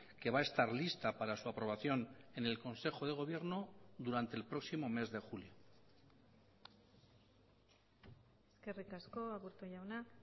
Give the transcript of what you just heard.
que va a estar lista para su aprobación en el consejo de gobierno durante el próximo mes de julio eskerrik asko aburto jauna